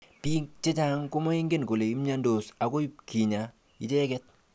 Bik chechang komengen kole mnyendos akoi pkinya icheket.